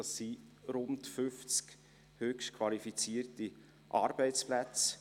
Dies sind rund fünfzig höchst qualifizierte Arbeitsplätze.